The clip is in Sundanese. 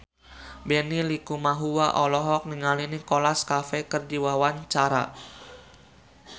Benny Likumahua olohok ningali Nicholas Cafe keur diwawancara